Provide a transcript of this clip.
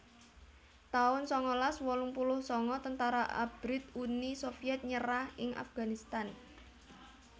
taun sangalas wolung puluh sanga Tentara Abrit Uni Sovyet nyerah ing Afghanistan